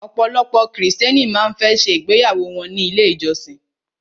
Ọ̀pọ̀lọpọ̀ krìstẹ́nì má ń fẹ́ ṣe ìgbéyàwó wọ́n ní ilé ìjọsin.